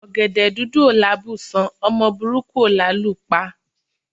Ọ̀gẹ̀dẹ̀ dúdú ò lábùṣán, ọmọ burúkú ò lálù pa.